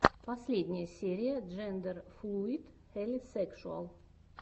последняя серия джендерфлуид хелисекшуал